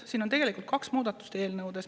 Siin on tegelikult kaks muudatust.